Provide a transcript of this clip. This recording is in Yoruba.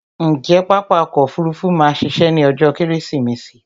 Ǹjé pápá ọkò òfurufú ma a ṣiṣẹ́ ní ọjó kẹ́rẹ́sìmẹsì?